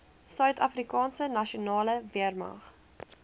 suidafrikaanse nasionale weermag